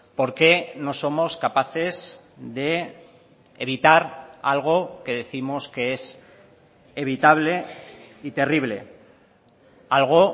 por qué no somos capaces de evitar algo que décimos que es evitable y terrible algo